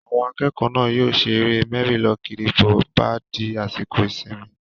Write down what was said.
Àwọn akẹ́kọ̀ọ́ náà yóò ṣe eré mẹ́rí-lọ-kiri bó bá di àsìkò ìsinmi